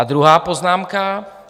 A druhá poznámka.